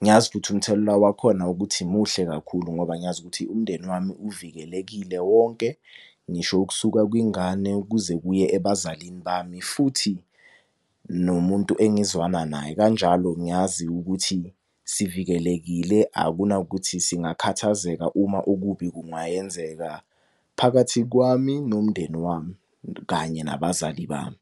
ngiyazi ukuthi umthelela wakhona ukuthi muhle kakhulu, ngoba ngiyazi ukuthi umndeni wami uvikelekile wonke ngisho ukusuka kwingane, ukuze kuye ebazalini bami. Futhi nomuntu engizwana naye kanjalo ngiyazi ukuthi sivikelekile akunakuthi singakhathazeka uma okubi kungayenzeka phakathi kwami, nomndeni wami, kanye nabazali bami.